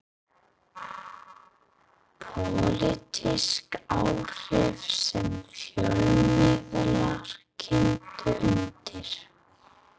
Pólitísk áhrif sem fjölmiðlar kyntu undir.